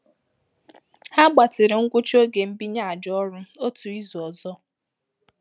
Ha gbatịrị ngwụcha oge mbinye àjà ọrụ otu izu ọzọ.